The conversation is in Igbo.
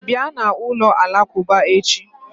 Bịa na ụlọ alakuba echi